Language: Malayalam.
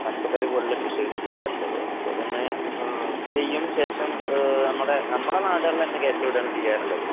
പച്ചക്കറി പോലുള്ള കൃഷികൾ ചെയ്യാറുള്ളത്. അപ്പോ ഇതിങ്ങനെ ചെയ്യും ശേഷം ഏഹ് നമ്മടെ നമ്മുടെ നാടുകളിലന്നെ കേറ്റി വിടുകയാണ് ചെയ്യാറുള്ളത്.